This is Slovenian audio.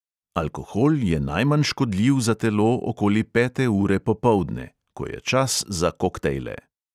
Alkohol je najmanj škodljiv za telo okoli pete ure popoldne, ko je čas za koktejle.